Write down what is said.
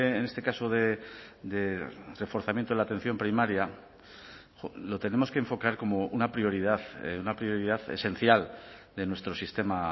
en este caso de reforzamiento de la atención primaria lo tenemos que enfocar como una prioridad una prioridad esencial de nuestro sistema